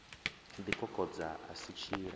ḓi kokodza a si tshiḽa